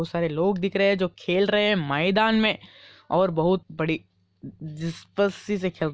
बहुत सारे लोग दिख रहे हैं जो खेल रहे मैदान में और बहुत बड़ी जिसपसी खेल --